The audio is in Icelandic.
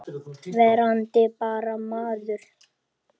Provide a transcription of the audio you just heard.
Verandi bara maður.